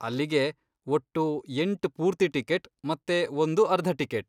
ಅಲ್ಲಿಗೆ, ಒಟ್ಟು ಎಂಟ್ ಪೂರ್ತಿ ಟಿಕೆಟ್ ಮತ್ತೆ ಒಂದು ಅರ್ಧ ಟಿಕೆಟ್.